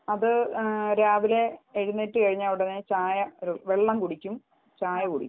അത് രാവിലെ എഴുന്നേറ്റ് കഴിഞ്ഞാൽ ഉടനെ ചായ ഒരു വെള്ളം കുടിക്കും ചായ കുടിക്കും